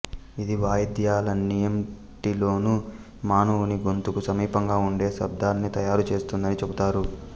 ఇది వాయిద్యాలన్నింటిలోను మానవుని గొంతుకు సమీపంగా ఉండే శబ్దాల్ని తయారుచేస్తుందని చెబుతారు